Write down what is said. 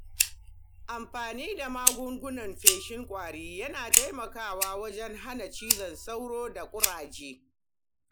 Amfani da magungunan feshin ƙwari yana taimakawa wajen hana cizon sauro da ƙudaje.